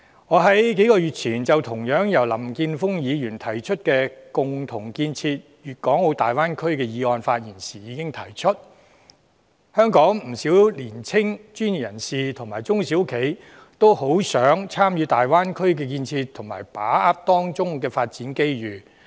"我在數個月前，就同樣由林健鋒議員提出的"加強區域合作，共建粵港澳大灣區"議案發言時，已提出香港不少年青專業人士和中小企，均渴望參與大灣區的建設和把握當中的發展機遇。